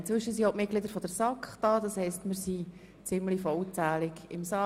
Inzwischen sind auch die Mitglieder der SAK anwesend und wir sind nun ziemlich vollzählig im Saal.